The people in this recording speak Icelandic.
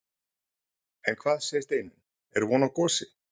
En hvað segir Steinunn, er von á gosi?